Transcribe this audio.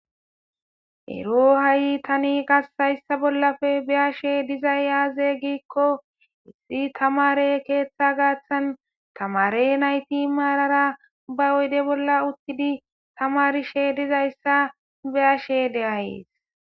ero ha7i tani qassayssa bollafe be ashe dizay yaaze giikko issi tamare keeththa gaaththan tamare nayti maarara ba oyde bolla uttidi tamarishe dizayssa be ashe deayees